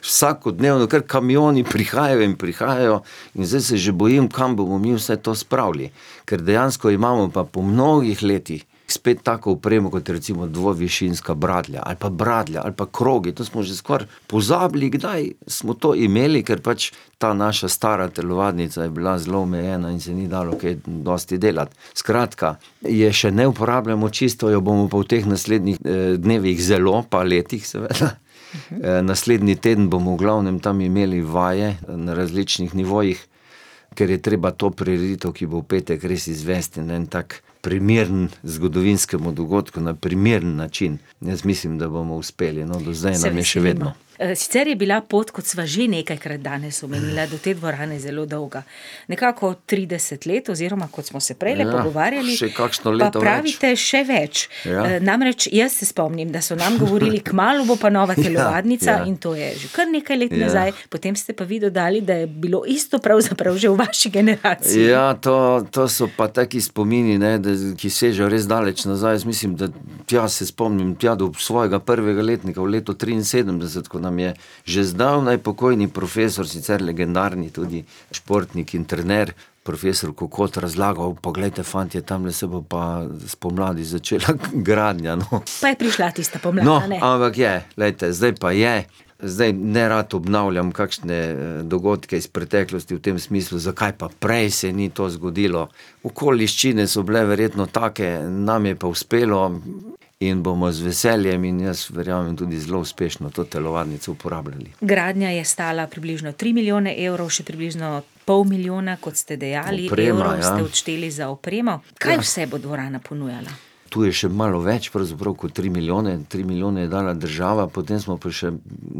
Vsakodnevno kar kamioni prihajajo in prihajajo in zdaj se že bojim, kam bomo mi vse to spravili. Ker dejansko imamo pa po mnogih letih spet tako opremo kot recimo dvovišinska bradlja ali pa bradlja ali pa krogi, to smo že skoraj pozabili, kdaj smo to imeli, ker pač ta naša stara telovadnica je bila zelo omejena in se ni dalo kaj dosti delati. Skratka, je še ne uporabljamo čisto, jo bomo pa v teh naslednjih, dnevih zelo, pa letih, seveda. naslednji teden bomo v glavnem tam imeli vaje na različnih nivojih, ker je treba to prireditev, ki bo v petek, res izvesti na en tak primeren zgodovinskemu dogodku, na primeren način. In jaz mislim, da bomo uspeli, no, do zdaj je še vedno. Se veselimo. sicer je bila pot, kot sva že nekajkrat danes omenila, do te dvorane zelo dolga. Nekako trideset let oziroma, kot smo se prejle pogovarjali, Še kakšno leto več. pa pravite še več. namreč, jaz se spomnim, da so nam govorili: "Kmalu bo pa nova telovadnica," in to je že kar nekaj let nazaj, Ja. . Ja, ja, ja. potem ste pa vi dodali, da je bilo isto pravzaprav že v vaši generaciji. Ja, to, to so pa taki spomini, ne, da, ki sežejo res daleč nazaj, jaz mislim, da ... Tja, se spomnim, tja do svojega prvega letnika v letu triinsedemdeset, ko nam je že zdavnaj pokojni profesor, sicer legendarni tudi športnik in trener, profesor Kokot, razlagal: "Poglejte, fantje, tamle se bo pa spomladi začela gradnja, no." Pa je prišla tista pomlad, a ne. No, ampak je, glejte, zdaj pa je, zdaj nerad obnavljam kakšne dogodke iz preteklosti v tem smislu, zakaj pa prej se ni to zgodilo. Okoliščine so bile verjetno take, nam je pa uspelo in bomo z veseljem in jaz verjamem tudi zelo uspešno to telovadnico uporabljali. Gradnja je stala približno tri milijone evrov, še približno pol milijona, kot ste dejali, evrov ste odšteli za opremo. Oprema, ja. Kaj vse bo dvorana ponujala? Ja. Tu je še malo več pravzaprav kot tri milijone, tri milijone je dala država, potem smo pa še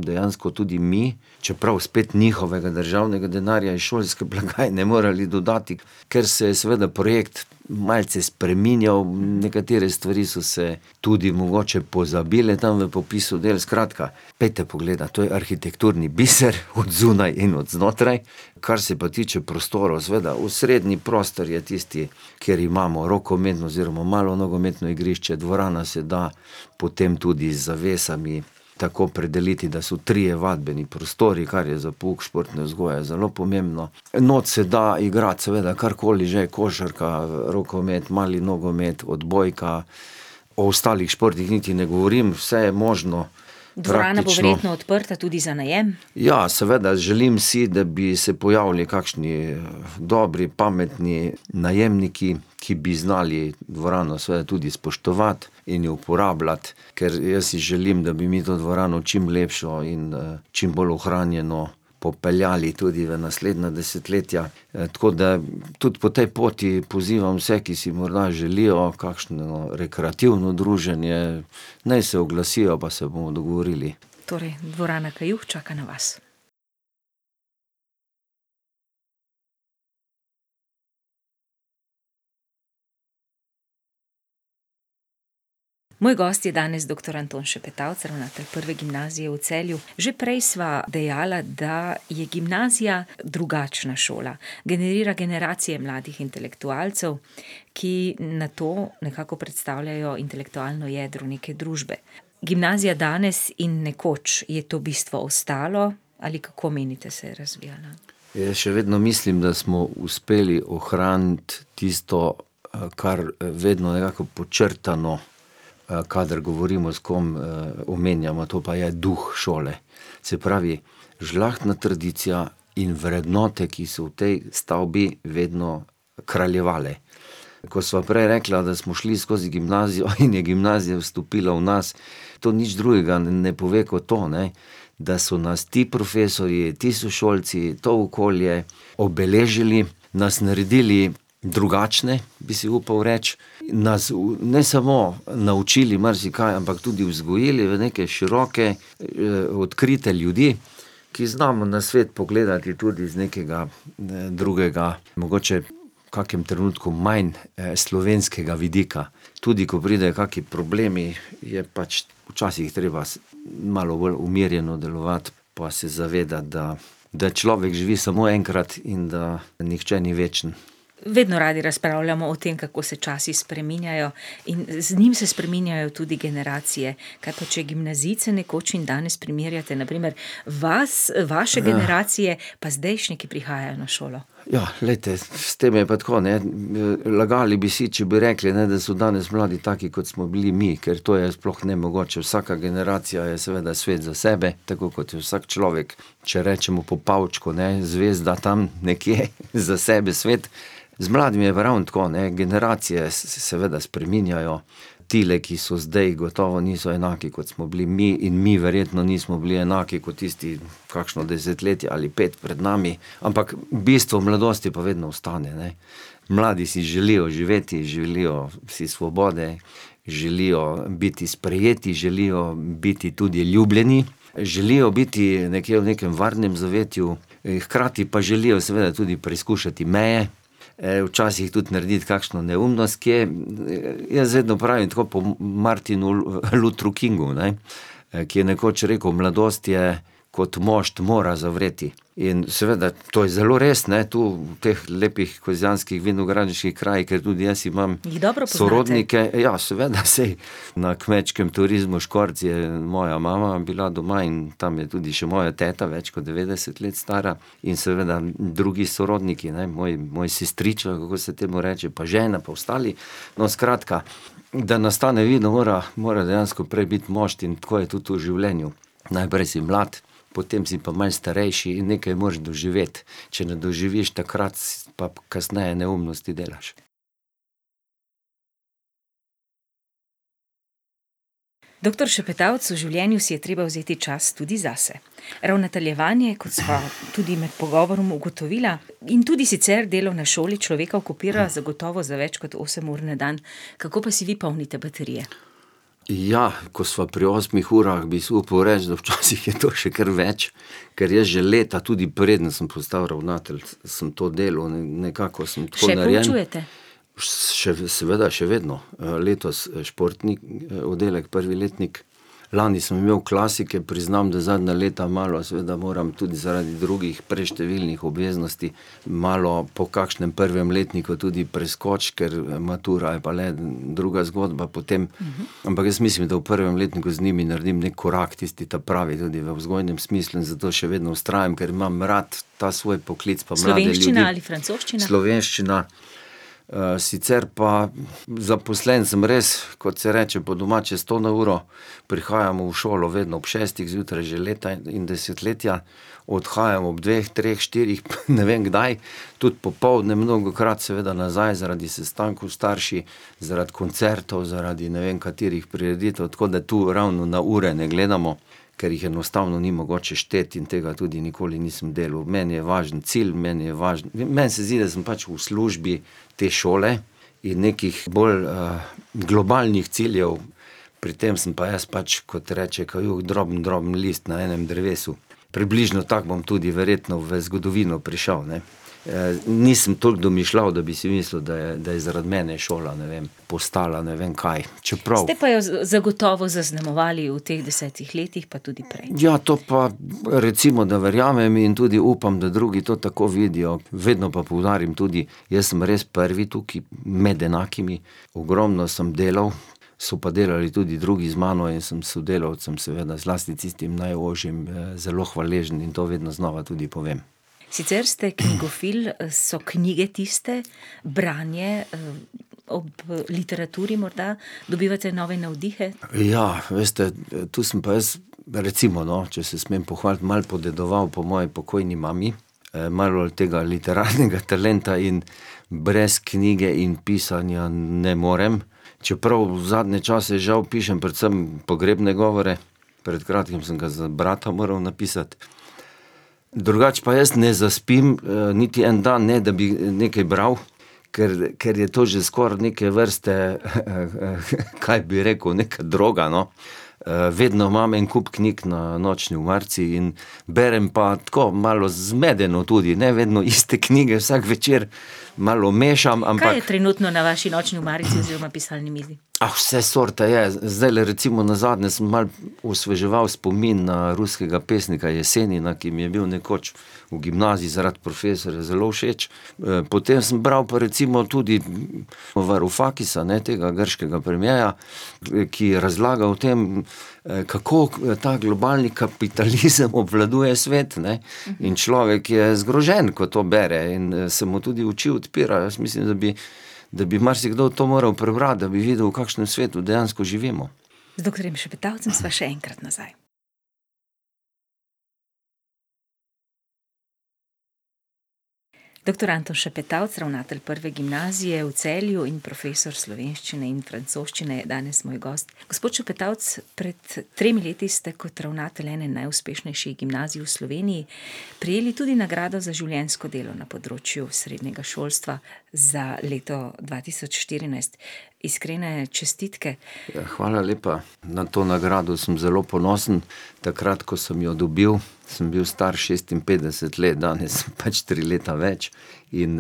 dejansko tudi mi, čeprav spet njihovega državnega denarja iz šolske blagajne morali dodati, ker se je seveda projekt malce spreminjal, nekatere stvari so se tudi mogoče pozabile tam na popisu del, skratka, pojdite pogledati, to je arhitekturni biser, od zunaj in od znotraj, kar se pa tiče prostorov, seveda, osrednji prostor je tisti, kjer imamo rokometno oziroma malo nogometno igrišče, dvorana se da potem tudi z zavesami tako predeliti, da so trije vadbeni prostori, kar je za pouk športne vzgoje zelo pomembno. Noter se da igrati, seveda, karkoli že, košarka, rokomet, mali nogomet, odbojka, o ostalih športih niti ne govorim, vse je možno. Praktično ... Dvorana bo verjetno odprta tudi za najem? Ja, seveda, želim si, da bi se pojavili kakšni dobri, pametni najemniki, ki bi znali dvorano seveda tudi spoštovati in jo uporabljati, ker jaz si želim, da bi mi to dvorano čim lepšo in, čim bolj ohranjeno popeljali tudi v naslednja desetletja. tako da, tudi po tej poti pozivam vse, ki si morda želijo kakšno rekreativno druženje, naj se oglasijo, pa se bomo dogovorili. Torej, dvorana Kajuh čaka na vas. Moj gost je danes doktor Anton Šepetavc, ravnatelj Prve gimnazije v Celju. Že prej sva dejala, da je gimnazija drugačna šola. Generira generacije mladih intelektualcev, ki nato nekako predstavljajo intelektualno jedro neke družbe. Gimnazija danes in nekoč - je to bistvo ostalo ali kako menite, se je razvijala? Jaz še vedno mislim, da smo uspeli ohraniti tisto, kar, vedno jako podčrtamo, kadar govorimo s kom, omenjamo, to pa je duh šole. Se pravi, žlahtna tradicija in vrednote, ki so v tej stavbi vedno kraljevale. Ko sva prej rekla, da smo šli skozi gimnazijo in je gimnazija vstopila v nas, to nič drugega ne pove kot to, ne, da so nas ti profesorji, ti sošolci, to okolje obeležili, nas naredili drugačne, bi si upal reči, nas ne samo, naučili marsikaj, ampak tudi vzgojili v neke široke, odkrite ljudi, ki znamo na svet pogledati tudi z nekega, drugega, mogoče v kakem trenutku manj, slovenskega vidika. Tudi ko pridejo kakšni problemi, je pač včasih treba malo bolj umirjeno delovati pa se zavedati, da da človek živi samo enkrat in da nihče ni večen. Vedno radi razpravljamo o tem, kako se časi spreminjajo, in z njim se spreminjajo tudi generacije. Kaj pa če gimnazijce nekoč in danes primerjate, na primer vas, vaše generacije pa zdajšnje, ki prihajajo na šolo. glejte, s tem je pa tako, ne, lagali bi si, če bi rekli, ne, da so danes mladi taki, kot smo bili mi, ker to je sploh nemogoče, vsaka generacija je seveda svet za sebe, tako kot vsak človek. Če rečemo po Pavčku, ne: "Zvezda tam nekje za sebe sveti ..." Z mladimi je pa ravno tako, ne, generacije se seveda spreminjajo, tile, ki so zdaj, gotovo niso enaki, kot smo bili mi, in mi verjetno nismo bili enaki kot tisti kakšno desetletje ali pet pred nami, ampak bistvo mladosti pa vedno ostane, ne. Mladi si želijo živeti in želijo si svobode, želijo biti sprejeti, želijo biti tudi ljubljeni, želijo biti nekje v nekem varnem zavetju, hkrati pa želijo seveda tudi preizkušati meje, včasih tudi narediti kakšno neumnost kje. Jaz vedno pravim tako po Martinu Luthru Kingu, ne, ki je nekoč rekel: "Mladost je kot mošt, mora zavreti." In seveda to je zelo res, ne, to, v teh lepih kozjanskih vinogradniških krajih, ker tudi jaz imam Jih dobro poznate? sorodnike ... Ja, seveda, saj, na kmečkem turizmu Škorc je moja mama bila doma in tam je tudi še moja teta, več kot devetdeset let stara, in seveda drugi sorodniki, ne, moj, moj sestrič ali kako se temu reče, pa žena, pa ostali ... No, skratka, da nastane vino, mora, mora dejansko prej biti mošt, in tako je tudi v življenju. Najprej si mlad, potem si pa malo starejši in nekaj moraš doživeti. Če ne doživiš takrat, pa kasneje neumnosti delaš. Doktor Šepetavc, v življenju si je treba vzeti čas tudi zase. Ravnateljevanje, kot sva tudi med pogovorom ugotovila, in tudi sicer delo na šoli človeka okupira zagotovo za več kot osem ur na dan. Kako pa si vi polnite baterije? Ja, ko sva pri osmih urah, bi si upal reči, da včasih je to še kar več, ker jaz že leta, tudi preden sem postal ravnatelj, sem to delal in nekako sem to narejen. Še poučujete? Še, seveda, še vedno. letos športni oddelek, prvi letnik, lani sem imel klasike, priznam, da zadnja leta malo seveda moram tudi zaradi drugih preštevilnih obveznosti malo po kakšnem prvem letniku tudi preskočiti, ker matura je pa le druga zgodba potem, ampak jaz mislim, da v prvem letniku z njimi naredim neki korak, tisti ta pravi tudi na vzgojnem smislu, in zato še vedno vztrajam, ker imam rad ta svoj poklic pa mlade ljudi. Slovenščina ali francoščina? Slovenščina, sicer pa zaposlen sem res, kot se reče, po domače, sto na uro, prihajam v šolo vedno ob šestih zjutraj že leta in desetletja, odhajam ob dveh, treh, štirih, ne vem, kdaj, tudi popoldne mnogokrat seveda nazaj zaradi sestankov s starši, zaradi koncertov, zaradi ne vem katerih prireditev, tako da to ravno na ure ne gledamo, ker jih enostavno ni mogoče šteti in tega tudi nikoli nisem delal, meni je važen cilj, meni je važno ... Meni se zdi, da sem pač v službi te šole, in nekih bolj, globalnih ciljev, pri tem sem pa jaz pač, kot reče Kajuh, drobno, droben list na enem drevesu. Približno tako bom tudi verjetno v zgodovino prišel, ne. nisem toliko domišljav, da bi si mislil, da je, da je zaradi mene šola, ne vem, postala ne vem kaj. Čeprav ... Ste pa jo zagotovo zaznamovali v teh desetih letih, pa tudi prej. Ja, to pa recimo, da verjamem, in tudi upam, da drugi to tako vidijo. Vedno pa poudarim tudi, jaz sem res prvi tukaj med enakimi. Ogromno sem delal, so pa delali tudi drugi z mano in sem sodelavcem, seveda zlasti tistim najožjim, zelo hvaležen in to vedno znova tudi povem. Sicer ste knjigofil, so knjige tiste, branje, ob literaturi morda dobivate nove navdihe? Ja, veste, to sem pa jaz recimo, no, če se smem pohvaliti, malo podedoval po moji pokojni mami, malo bolj tega literarnega talenta in brez knjige in pisanja ne morem. Čeprav zadnje čase žal pišem predvsem pogrebne govore, pred kratkim sem ga za brata moral napisati. Drugače pa jaz ne zaspim niti en dan, ne da bi, nekaj bral, ker, ker je to že skoraj neke vrste, kaj bi rekel, nekaj droga, no. vedno imam en kup knjig na nočni omarici in ... Berem pa tako malo zmedeno, tudi ne vedno iste knjige vsak večer, malo mešam, ampak ... Kaj je trenutno na vaši nočni omarici oziroma pisalni mizi? Ah, vse sorte je, zdajle recimo nazadnje sem malo osveževal spomin na ruskega pesnika Jesenina, ki mi je bil nekoč v gimnaziji zaradi profesorja zelo všeč, potem sem bral pa recimo tudi Varufakisa, ne, tega grškega premiera, ki, ki je razlagal o tem, kako ta globalni kapitalizem obvladuje svet, ne. In človek je zgrožen, ko to bere, in se mu tudi oči odpirajo, jaz mislim, da bi, da bi marsikdo to moral prebrati, da bi videli, v kakšnem svetu dejansko živimo. Z doktorjem Šepetavcem sva še enkrat nazaj. Doktor Anton Šepetavc, ravnatelj Prve gimnazije v Celju in profesor slovenščine in francoščine je danes moj gost. Gospod Šepetavc, pred tremi leti ste kot ravnatelj ene najuspešnejših gimnazij v Sloveniji prejeli tudi nagrado za življenjsko delo na področju srednjega šolstva za leto dva tisoč štirinajst. Iskrene čestitke. hvala lepa, na to nagradno sem zelo ponosen, takrat, ko sem jo dobil, sem bil star šestinpetdeset let, danes pač tri leta več, in,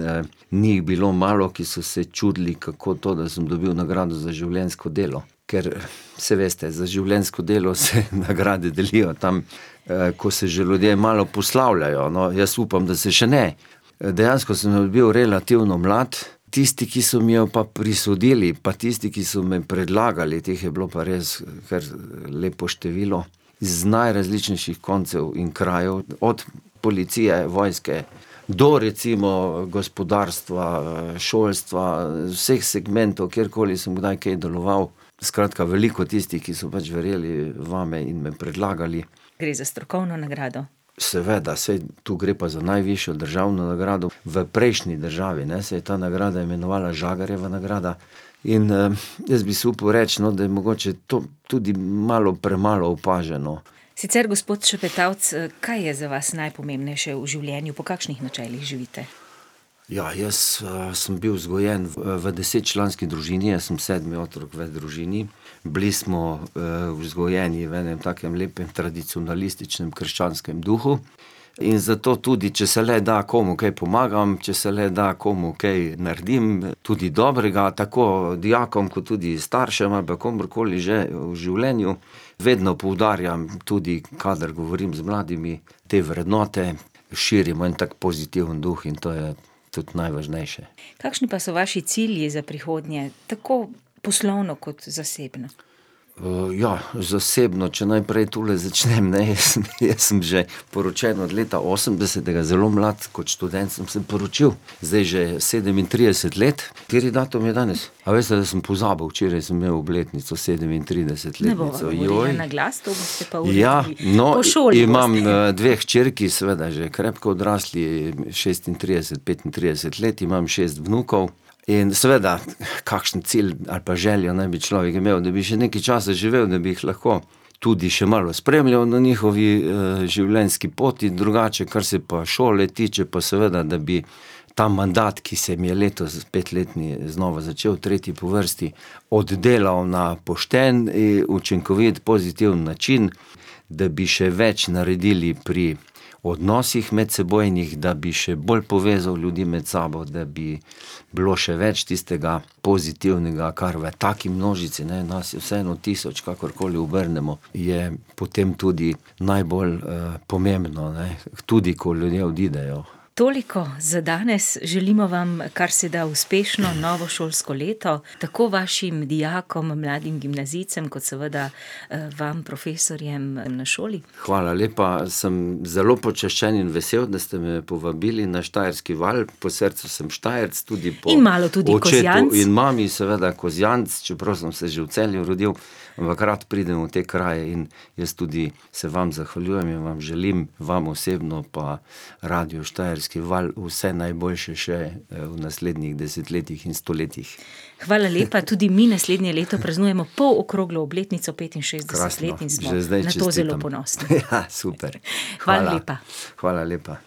ni jih bilo malo, ki so se čudili, kako to, da sem dobil nagrado za življenjsko delo. Ker saj veste, za življenjsko delo se nagrade delijo tam, ko se že ljudje malo poslavljajo, no, jaz upam, da se še ne. dejansko sem jo dobil relativno mlad, tisti, ki so mi jo pa prisodili, pa tisti, ki so me predlagali, teh je bilo pa res kar lepo število, iz najrazličnejših koncev in krajev, od policije, vojske do recimo gospodarstva, šolstva, vseh segmentov, kjerkoli sem kdaj kaj deloval. Skratka, veliko tistih, ki so pač verjeli vame in me predlagali. Gre za strokovno nagrado. Seveda, saj tu gre pa za najvišjo državno nagrado. V prejšnji državi, ne, se je ta nagrada imenovala Žagarjeva nagrada in, jaz bi si upal reči, no, da je mogoče to tudi malo premalo opaženo. Sicer, gospod Šepetavc, kaj je za vas najpomembnejše v življenju, po kakšnih načelih živite? Ja, jaz, sem bil vzgojen v desetčlanski družini, jaz sem sedmi otrok v družini, bili smo, vzgojeni v enem takem lepem tradicionalističnem krščanskem duhu in zato tudi, če se le da, komu kaj pomagam, če se le da, komu kaj naredim tudi dobrega, tako dijakom kot tudi staršem ali pa komurkoli že v življenju. Vedno poudarjam tudi, kadar govorim z mladimi, te vrednote širim v en tak pozitiven duh, in to je tudi najvažnejše. Kakšni pa so vaši cilji za prihodnje, tako poslovno kot zasebno? ja, zasebno, če najprej tule začnem, ne, jaz sem, jaz sem že poročen od leta osemdesetega, zelo mlad, kot študent sem se poročil, zdaj že sedemintrideset let, kateri datum je danes? A veste, da sem pozabil, včeraj sem imel obletnico sedemintrideset let ... Ne bova povedala na glas, to boste pa uredili. Obletnico, Ja. No, imam dve hčerki, seveda že krepko odrasli, Po šoli boste. šestintrideset, petintrideset let imam, šest vnukov, in, seveda, kakšen cilj ali pa želje naj bi človek imel, da bi še nekaj časa živel, da bi jih lahko tudi še malo spremljal na njihovi, življenjski poti, drugače kar se pa šole tiče, pa seveda, da bi ta mandat, ki se mi je letos petletni znova začel, tretji po vrsti, oddelal na pošten in učinkovit, pozitiven način, da bi še več naredili pri odnosih medsebojnih, da bi še bolj povezali ljudi med sabo, da bi bilo še več tistega pozitivnega, kar v taki množici, ne, nas je vseeno tisoč, kakorkoli obrnemo, je potem tudi najbolj, pomembno, ne, tudi, ko ljudje odidejo. Toliko za danes, želimo vam karseda uspešno novo šolsko leto, tako vašim dijakom, mladim gimnazijcem, kot seveda, vam, profesorjem na šoli. Hvala lepa, sem zelo počaščen in vesel, da ste me povabili na Štajerski val, po srcu sem Štajerec tudi, In malo tudi Kozjanec. po očetu in mami seveda Kozjanec, čeprav sem se že v Celju rodil, ampak rad pridem v te kraje in jaz tudi se vam zahvaljujem in vam želim, vam osebno pa radiu Štajerski val, vse najboljše še, v naslednjih desetletjih in stoletjih. Hvala lepa, tudi mi naslednje leto praznujemo polokroglo obletnico šestdeset let in smo na to zelo ponosni. Krasno. Že zdaj čestitam. super. Hvala lepa. Hvala. Hvala lepa.